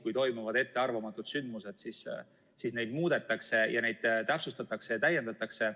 Kui toimuvad ettearvamatud sündmused, siis neid muudetakse, täpsustatakse ja täiendatakse.